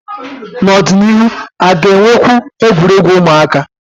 N'ọdịnihu, a ga-enwekwu egwuregwu ụmụaka?